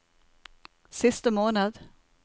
siste måned